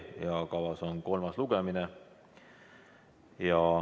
Kavas on kolmas lugemine.